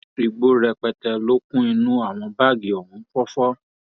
igbó rẹpẹtẹ ló kún inú àwọn báàgì ohun fọfọ